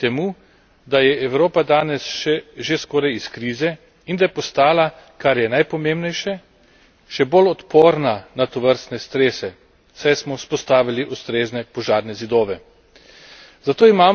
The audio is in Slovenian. odločilno pripomogli k temu, da je Evropa danes že skoraj iz krize in da je postala, kar je najpomembnejše, še bolj odporna na tovrstne strese, saj smo vzpostavili ustrezne požarne zidove.